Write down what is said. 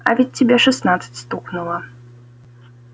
а ведь тебе шестнадцать стукнуло